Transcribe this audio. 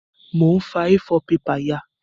Mo n fa A4 paper ya